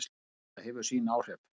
Þetta hefur sín áhrif.